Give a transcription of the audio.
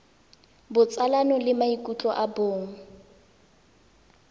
botsalano le maikutlo a bong